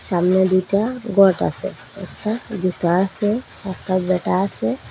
ছামনে দুইটা গট আসে একটা জুতা আসে একখান ব্যাটা আসে ।